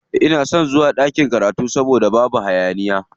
Ina son zuwa ɗakin karatu saboda babu hayaniya.